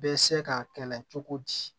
Bɛ se ka kɛlɛ cogo di